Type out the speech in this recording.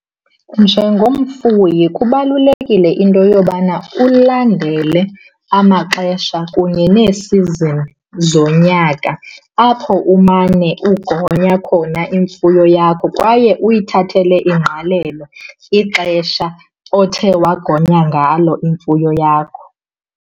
Njengomfuyi kubalulekile into yobana ulandele amaxesha kunye nee-season zonyaka apho umane ugonya khona imfuyo yakho kwaye uyithathele ingqalelo ixesha othe wagonya ngalo imfuyo yakho.